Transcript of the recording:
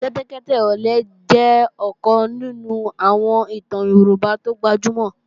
Kẹ́tẹ́kẹ́tẹ́ ọ̀lẹ jẹ́ ọ̀kan nínú àwọn ìtàn Yorùbá tó gbajúmọ̀